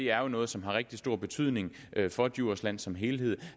er jo noget som har rigtig stor betydning for djursland som helhed